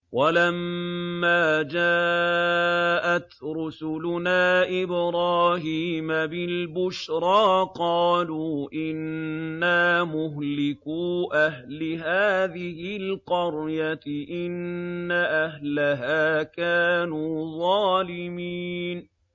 وَلَمَّا جَاءَتْ رُسُلُنَا إِبْرَاهِيمَ بِالْبُشْرَىٰ قَالُوا إِنَّا مُهْلِكُو أَهْلِ هَٰذِهِ الْقَرْيَةِ ۖ إِنَّ أَهْلَهَا كَانُوا ظَالِمِينَ